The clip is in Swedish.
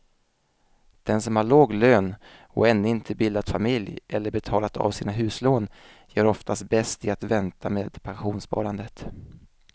Den som har låg lön och ännu inte bildat familj eller betalat av sina huslån gör oftast bäst i att vänta med pensionssparandet.